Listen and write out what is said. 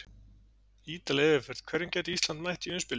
Ítarleg yfirferð: Hverjum gæti Ísland mætt í umspili?